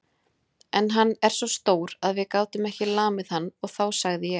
En hann er svo stór að við gátum ekki lamið hann og þá sagði ég